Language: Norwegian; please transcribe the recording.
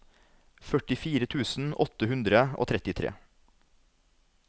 førtifire tusen åtte hundre og trettitre